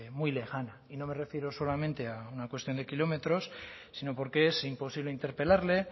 muy lejana y no me refiero solamente a una cuestión de kilómetros sino porque es imposible interpelarle